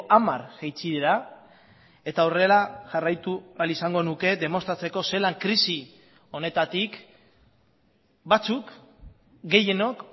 hamar jaitsi dira eta horrela jarraitu ahal izango nuke demostratzeko zelan krisi honetatik batzuk gehienok